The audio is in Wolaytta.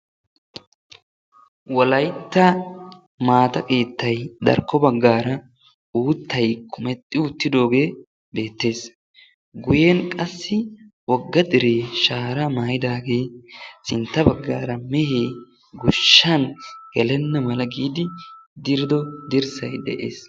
Wolaytta maata keetta darkko baggaara uuttay kumexxi uttidaagee beettees. guyyen qassi wogga dere shaara maayyidaage sintta baggaara mehe goshshan gelana mala giidi diriddo dirssay de'ees.